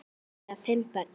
Þau eiga fimm börn